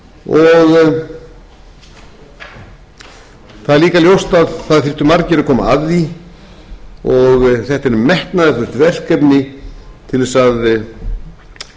að koma að því og þetta er metnaðarfullt verkefni til þess að opna dyrnar